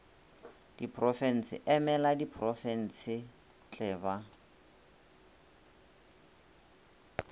diporofense e emela diprofensetle ba